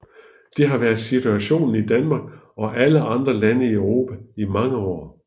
Det har været situationen i Danmark og alle andre lande i Europa i mange år